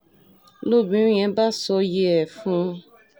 lobìnrin yẹn bá ṣòye ẹ̀ fún un